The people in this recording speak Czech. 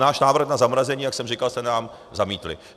Náš návrh na zamrazení, jak jsem říkal, jste nám zamítli.